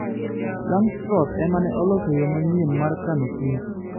Langstroth ema ne oloso yo manyien mar kano Kich